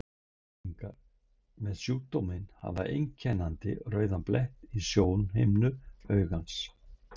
Einstaklingar með sjúkdóminn hafa einkennandi rauðan blett í sjónhimnu augans.